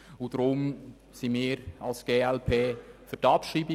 Darum sind wir als glp für die Abschreibung.